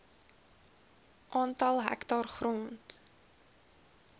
aantal hektaar grond